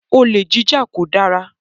Olè jíjà kò dára